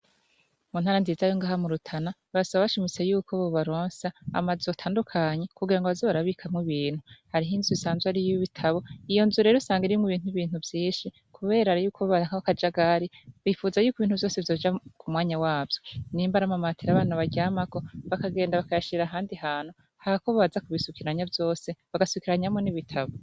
Muntara nziza yo ngaha murutana barasaba bashimitse yuko bobaronsa amazu atandukanye kugirango baze barabikamwo ibintu harimwo inzu isanze ari iyibitabo iyonzu rero usanga irimwo ibintu vyinshi kubera yuko hari akajagari bipfuza yuko ibintu vyose vyoja kumwanya wavyo nimba ari amamatera abana baryamako bakagenda bakayashira ahandi hantu hako baza kubisukiranya vyose bagasukiranyamwo nibitabo